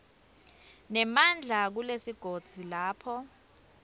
nemandla kulesigodzi lapho